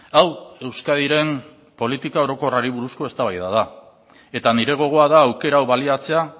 hau euskadiren politika orokorrari buruzko eztabaida da eta nire gogoa da aukera hau baliatzea